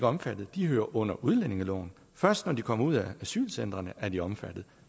omfattet de hører under udlændingeloven først når de kommer ud af asylcentrene er de omfattet